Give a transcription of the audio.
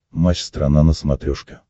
матч страна на смотрешке